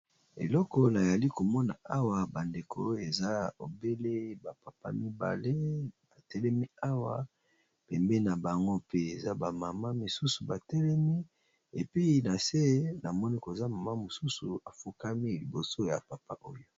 Elloko nali komona awa bandeko eza obele ba papa mibale batelemi awa pembeni na bango mpe eza ba mama mosusu batelemi epi na se namoni koza mama mosusu afukami liboso ya papa oyo.